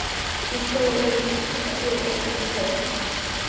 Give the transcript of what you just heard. Hún sló á lær sér og skellihló.